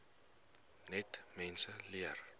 net mense leer